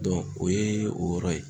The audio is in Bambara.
o ye o yɔrɔ ye